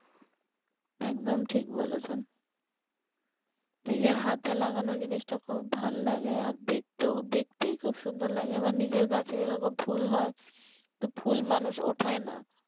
একদম ঠিক বলেছেন নিজের হাতে লাগানো জিনিসটা খুব ভাল্লাগে আর দেখতেও দেখতেই খুব সুন্দর লাগে মানে নিজের গাছে যেরকম ফুল হয় তো ফুল মানুষ ওঠায় না